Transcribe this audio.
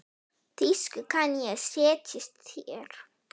Þýsku kann ég, setjist þér.